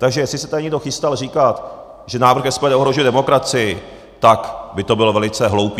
Takže jestli se tady někdo chystal říkat, že návrh SPD ohrožuje demokracii, tak by to bylo velice hloupé.